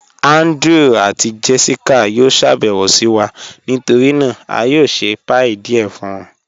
Andrew àti Jessica yó ṣàbẹwo sí wa, nítorí náà a yó ṣẹ̀ pie díẹ̀ fun wọn